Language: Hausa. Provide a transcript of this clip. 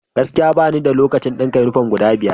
Gaskiya! Bani da lokacin dinka yunifom guda biyar.